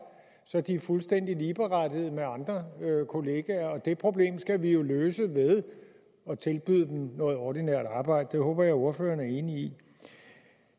så de er fuldstændig ligeberettigede med andre kollegaer og det problem skal vi jo løse ved at tilbyde dem noget ordinært arbejde det håber jeg ordføreren er enig i